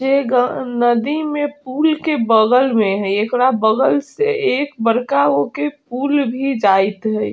जे ग नदी में पूल के बगल में हई एकरा बगल से एक बड़का गो के पूल भी जाइत हईं।